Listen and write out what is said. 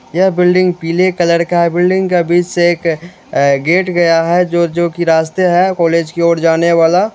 यह बिल्डिंग पीले कलर का है बिल्डिंग का बीच से एक गेट गया है जो जो कि रास्ते हैं कॉलेज की ओर जाने वाला।